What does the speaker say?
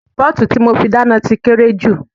Pọ́ọ̀tù tí mo fi dáná ti kéré jù